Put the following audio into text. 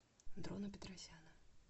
дрона петросяна